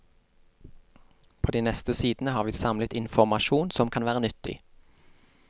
På de neste sidene har vi samlet informasjon som kan være nyttig.